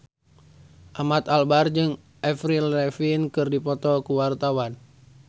Ahmad Albar jeung Avril Lavigne keur dipoto ku wartawan